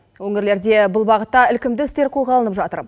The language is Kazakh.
өңірлерде бұл бағытта ілкімді істер қолға алынып жатыр